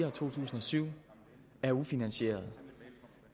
og to tusind og syv er ufinansierede